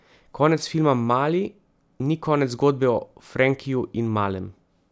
Konec filma Mali ni konec zgodbe o Frenkiju in Malem.